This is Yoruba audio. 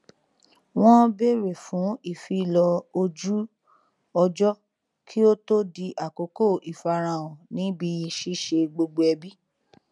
wọn bèrè fún ìfilọ ojú ọjọ kí ó to di àkókò ìfarahàn níbi ṣíṣe gbogbo ẹbì